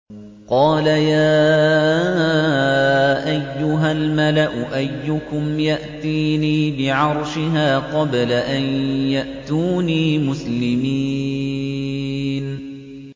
قَالَ يَا أَيُّهَا الْمَلَأُ أَيُّكُمْ يَأْتِينِي بِعَرْشِهَا قَبْلَ أَن يَأْتُونِي مُسْلِمِينَ